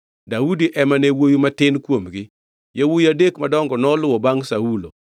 Daudi ema ne wuowi matin kuomgi. Yawuowi adek madongo noluwo bangʼ Saulo,